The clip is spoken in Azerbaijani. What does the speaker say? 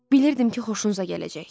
Bilirdim ki, xoşunuza gələcək.